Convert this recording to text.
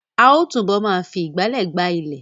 A ó túbọ̀ ma fi ìgbálẹ̀ gbá ilẹ̀